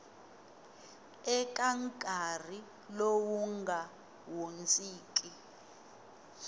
eka nkarhi lowu nga hundziki